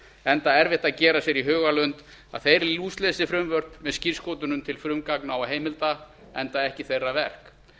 enda erfitt að gera sér í hugarlund að þeir lúslesi frumvörp með skírskotunum til frumgagna og heimilda enda ekki þeirra verk